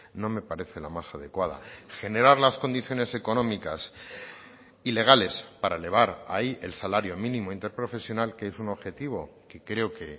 no me parece la más adecuada generar las condiciones económicas ilegales para elevar ahí el salario mínimo interprofesional que es un objetivo que creo que